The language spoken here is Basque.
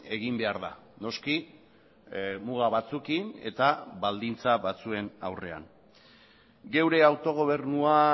egin behar da noski muga batzuekin eta baldintza batzuen aurrean geure autogobernua